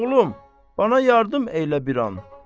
Oğlum, mənə yardım eylə bir an.